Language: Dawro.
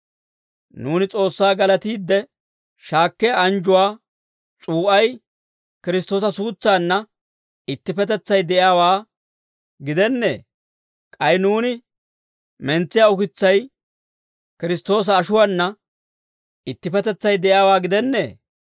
Nuuni S'oossaa galatiide shaakkiyaa anjjuwaa s'uu'ay Kiristtoosa suutsaanna ittippetetsay de'iyaawaa gidennee? K'ay nuuni mentsiyaa ukitsay Kiristtoosa ashuwaana ittippetetsay de'iyaawaa gidennee?